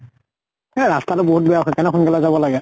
এ ৰাস্তা টো বহুত বেয়া। সেইকাৰণে সোন কালে যাব লাগে।